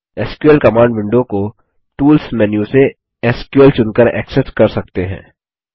SQL command window को tools menu से SQL चुनकर एक्सेस कर सकते हैं